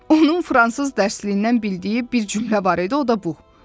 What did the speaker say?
Onun fransız dərsliyindən bildiyi bir cümlə var idi, o da bu.